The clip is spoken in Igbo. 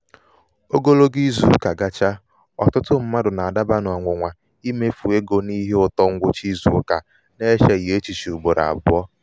ogologo izùụkà gachaa ọtụtụ mmadụ̀ nà-àdabà n’ọ̀nwụ̀nwà imefu n’ọ̀nwụ̀nwà imefu egō n’ihe ụtọ ṅgwụcha izùụkà na-echèghị̀ echiche ugbòrò àbụọ.